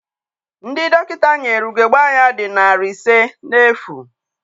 Ndị dọkịta nyere ugebe anya dị narị ise n'efu.